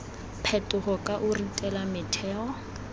phetogo ka o ritela metheo